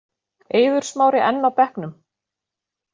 Eiður Smári enn á bekknum